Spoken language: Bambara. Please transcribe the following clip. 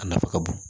A nafa ka bon